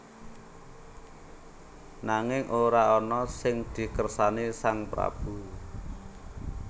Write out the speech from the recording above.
Nanging ora ana sing dikersani sang prabu